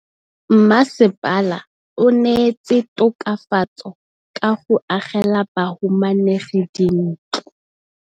Mmasepala o neetse tokafatsô ka go agela bahumanegi dintlo.